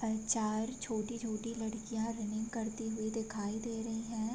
और चार छोटी-छोटी लड़कियाॅ रनिंग करती हुई दिखाई दे रही हैं।